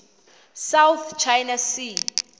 south china sea